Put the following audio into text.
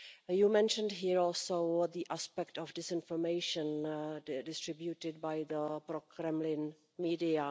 You mentioned here also the aspect of disinformation distributed by the pro Kremlin media.